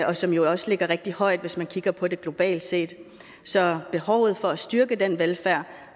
og som jo også ligger rigtig højt hvis man kigger på det globalt set så behovet for at styrke den velfærd